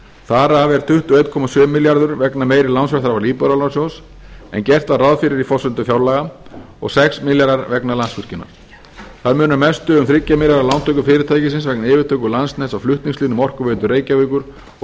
þar af er tuttugu og einn komma sjö milljarður vegna meiri lánsfjárþarfar íbúðalánasjóðs en gert var ráð fyrir í forsendum fjárlaga og sex milljarðar vegna landsvirkjunar þar munar mestu um þrjá milljarða lántöku fyrirtækisins vegna yfirtöku landsnets á flutningslínum orkuveitu reykjavíkur og